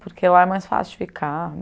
Porque lá é mais fácil de ficar.